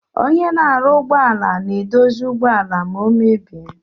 Onye na arụ ụgbọala na edozi ụgbọala ma omebie.